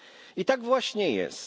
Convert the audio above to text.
I tak właśnie jest.